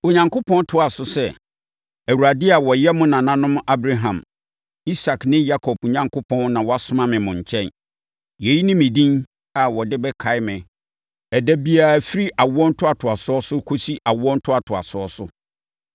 Onyankopɔn toaa so sɛ, “ Awurade a ɔyɛ mo nananom Abraham, Isak ne Yakob Onyankopɔn na wasoma me mo nkyɛn.” Yei ne me edin a wɔde bɛkae me ɛda biara firi awoɔ ntoatoasoɔ so kɔsi awoɔ ntoatoasoɔ so.